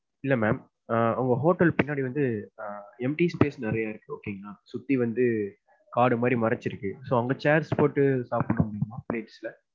இல்ல mam உங்க hotel பின்னாடி வந்து empty space நிறையா இருக்கு okay ங்களா. சுத்தி வந்து காடு மாதிரி மறைச்சுருக்கு அங்க chairs போட்டு சாப்புட முடியுமா plates ல?